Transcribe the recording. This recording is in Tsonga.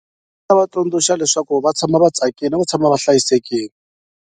Ta va tsundzuxa leswaku va tshama va tsakile na ku tshama ba hlayisekile.